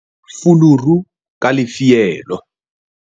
fiela fuluru ka lefielo